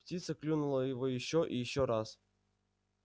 птица клюнула его ещё и ещё раз